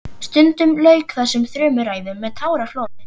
Stundum lauk þessum þrumuræðum með táraflóði.